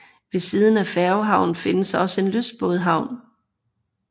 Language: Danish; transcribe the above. Ved siden af færgehavnen findes også en lystbådehavn